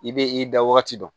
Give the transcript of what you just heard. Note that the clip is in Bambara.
I bɛ i da wagati dɔn